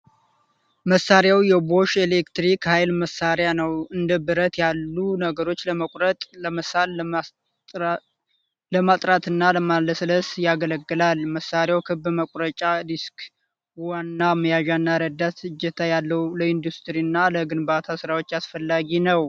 መሳሪያው የቦሽ የኤሌክትሪክ ሃይል መሳሪያ ነው። እንደ ብረት ያሉ ነገሮችን ለመቁረጥ ፣ ለመሳል ፣ ለማጥራትና ለማለስለስ ያገለግላል ። መሳሪያው ክብ መቁረጫ ዲስክ፣ ዋና መያዣና ረዳት እጀታ ያለውና ለኢንዱስትሪ እና ለግንባታ ስራዎች አስፈላጊ ነው።